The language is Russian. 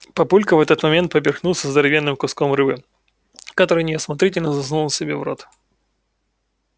папулька в этот момент поперхнулся здоровенным куском рыбы который неосмотрительно засунул себе в рот